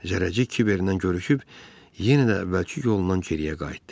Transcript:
Zərrəcik Kiberdən görüşüb yenə də əvvəlki yolla geriyə qayıtdı.